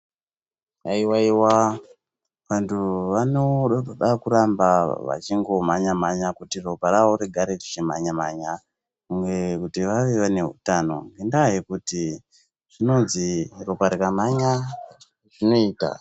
Haiwa iwa vantu vanoramba vachingomhanya mhanya kuti ropa ravo rigare richimhanya mhanya uye kuti vave vane utano ngekuti zvinonzi ropa rikamhanya zvinoita.